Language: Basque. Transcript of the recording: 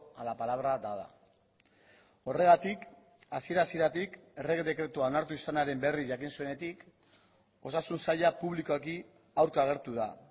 a la palabra dada horregatik hasiera hasieratik errege dekretua onartu izanaren berri jakin zuenetik osasun saila publikoki aurka agertu da